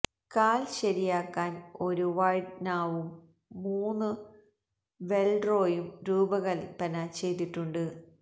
കാൽ ശരിയാക്കാൻ ഒരു വൈഡ് നാവും മൂന്നു വെൽറോയും രൂപകൽപ്പന ചെയ്തിട്ടുണ്ട്